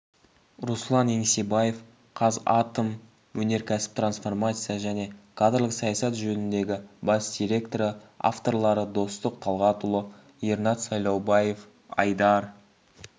руслан еңсебаев қазатомөнеркәсіп трансформация және кадрлық саясат жөніндегі бас директоры авторлары достық талғатұлы ернат сайлаубаев айдар